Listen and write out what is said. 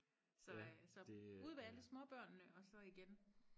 så øh så ud ved alle småbørnene og så igen